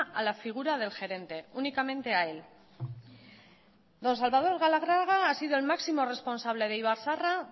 a la figura del gerente únicamente él don salvador galarraga ha sido el máximo responsable de ibarzaharra